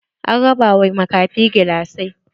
An raba wa makafi gilasai.